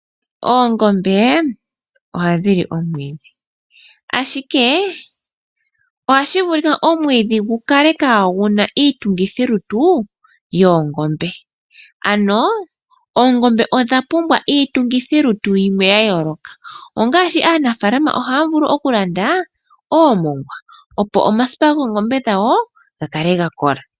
Oongombe ohadhi li omwiidhi ashike ohashi vulika omwiidhi gu kale kaagu na iitungithi lutu yoongombe. Oongombe odha pumbwa iitungithi lutu yimwe yayooloka, aanafaalama ohaya vulu okulanda oomongwa opo omasipa goongombe dhawo gakale gakola.